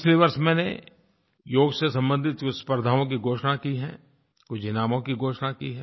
पिछले वर्ष मैंने योग से संबंधित कुछ स्पर्धाओं की घोषणा की है कुछ इनामों की घोषणा की है